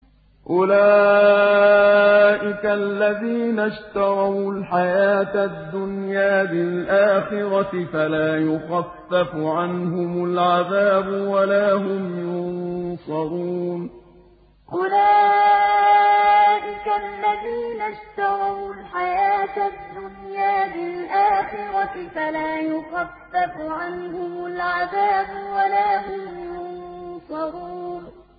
أُولَٰئِكَ الَّذِينَ اشْتَرَوُا الْحَيَاةَ الدُّنْيَا بِالْآخِرَةِ ۖ فَلَا يُخَفَّفُ عَنْهُمُ الْعَذَابُ وَلَا هُمْ يُنصَرُونَ أُولَٰئِكَ الَّذِينَ اشْتَرَوُا الْحَيَاةَ الدُّنْيَا بِالْآخِرَةِ ۖ فَلَا يُخَفَّفُ عَنْهُمُ الْعَذَابُ وَلَا هُمْ يُنصَرُونَ